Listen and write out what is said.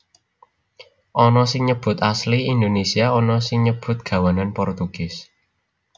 Ana sing nyebut asli Indonésia ana sing nyebut gawanan Portugis